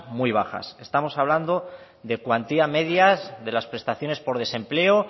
muy bajas estamos hablando de cuantías medias de las prestaciones por desempleo